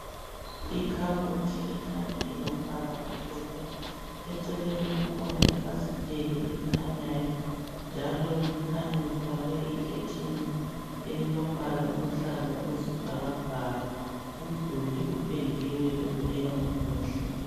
ikhabothi ekhanya ilombala omhlophe eceleni kukhona ifasiteli elikhanyayo njalo kukhanya lifakwe ikhetheni elilombala oluhlaza okwesibhakabhaka umduli upendiwe ubukeka umuhle